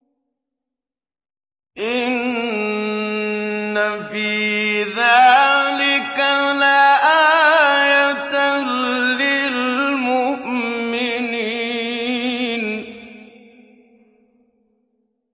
إِنَّ فِي ذَٰلِكَ لَآيَةً لِّلْمُؤْمِنِينَ